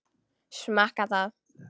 Smakka það.